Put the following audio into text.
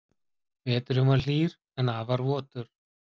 Veturinn var hlýr en afar votur